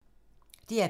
DR P3